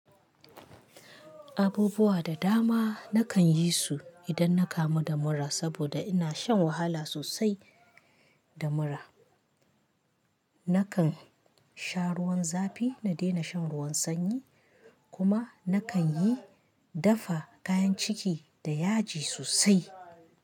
Abubuwa da dama na kan yi su idan na kamu da mura saboda ina shan wahala sosai da mura. Na kan sha ruwan zafi na daina shan ruwan sanyi kuma na kan yi dafa kayan ciki da yaji sosai.